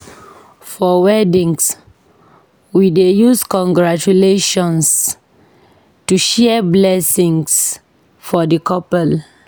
For weddings, we dey use "Congratulations" and share blessings for the couple.